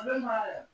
A bɛ na